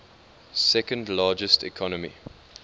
second largest economy